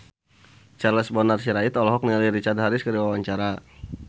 Charles Bonar Sirait olohok ningali Richard Harris keur diwawancara